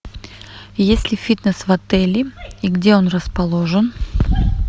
есть ли фитнес в отеле и где он расположен